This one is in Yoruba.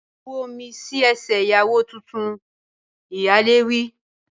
Bu omi sí ẹsẹ̀ ìyàwó tuntun! Ìyálé wí.